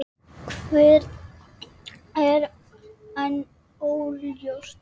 Hver er enn óljóst.